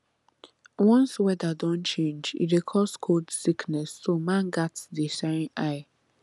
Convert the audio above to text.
once weather don change e dey cause cold sickness so man gats dey shine eye